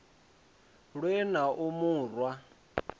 lwe na u mu rwa